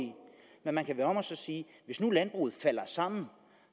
men man kan vende det om og sige at hvis nu landbruget falder sammen